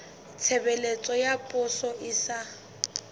tshebeletso ya poso e sa